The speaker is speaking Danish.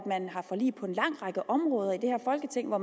forlig på en lang række områder i det her folketing og